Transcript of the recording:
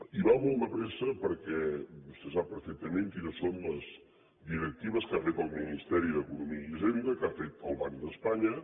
i va molt de pressa perquè vostè sap perfectament quines són les directives que ha fet el ministeri d’economia i hisenda que ha fet el banc d’espanya